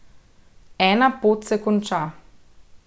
Ena pot se konča.